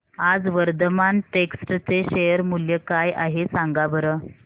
आज वर्धमान टेक्स्ट चे शेअर मूल्य काय आहे सांगा बरं